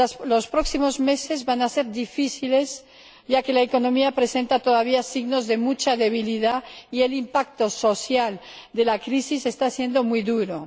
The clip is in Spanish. Los próximos meses van a ser difíciles, ya que la economía presenta todavía signos de mucha debilidad y el impacto social de la crisis está siendo muy duro.